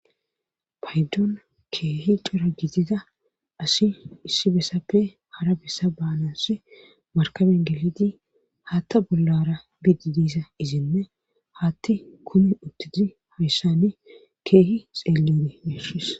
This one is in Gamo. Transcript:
paydon keehi cira gitida asi issi bessappe hara bessa baanas markaben geliti haatta bollara bidi diisa izinne hatti kumi uttuti hayssani keehi xeelleone messis